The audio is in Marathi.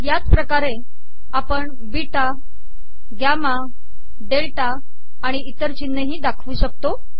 याच पमाणे आपण बीटा गमा डेलटा आिण इतर िचनहे दाखवू शकतो